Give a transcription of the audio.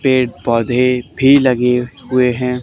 पेड़ पौधे भी लगे हुए हैं।